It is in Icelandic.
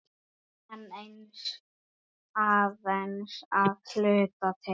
En aðeins að hluta til.